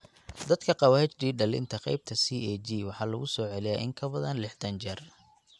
Dadka qaba HD dhallinta, qaybta CAG waxaa lagu soo celiyaa in ka badan lixdan jeer.